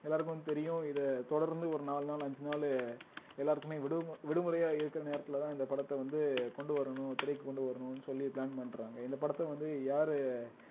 எல்லாருக்கும் தெரியும் இத தொடர்ந்து ஒரு நாலு நாள் அஞ்சு நாள் எல்லாருக்குமே விடுமு~ விடுமுறையா இருக்கிற நேரத்திலதான் இந்த படத்தை வந்து கொண்டு வரணும் திரைக்கு கொண்டு வரணும்ன்னு சொல்லி plan பண்றாங்க இந்த படத்தை வந்து யாரு